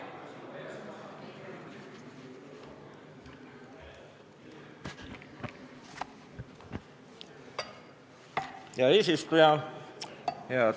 Hea eesistuja!